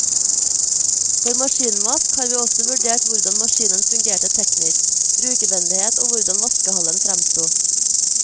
For maskinvask har vi også vurdert hvordan maskinen fungerte teknisk, brukervennlighet og hvordan vaskehallen fremsto.